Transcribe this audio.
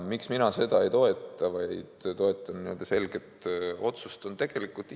Miks mina seda ei toeta, vaid toetan selget otsust?